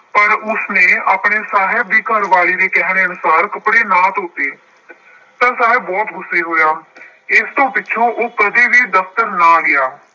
ਪਰ ਉਸਨੇ ਆਪਣੇ ਸਾਹਬ ਦੀ ਘਰਵਾਲੀ ਦੇ ਕਹਿਣ ਅਨੁਸਾਰ ਕੱਪੜੇ ਨਾ ਧੋਤੇ। ਤਾਂ ਸਾਹਬ ਬਹੁਤ ਗੁੱਸੇ ਹੋਇਆ। ਇਸ ਤੋਂ ਪਿੱਛੋਂ ਉਹ ਕਦੇ ਵੀ ਦਫਤਰ ਨਾ ਗਿਆ।